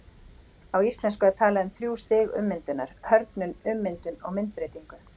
Á íslensku er talað um þrjú stig ummyndunar, hörðnun, ummyndun og myndbreytingu.